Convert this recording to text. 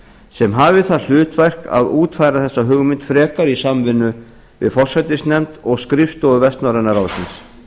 sem hafi það hlutverk að útfæra þessa hugmynd frekar í samvinnu við forsætisnefnd og skrifstofu vestnorræna ráðsins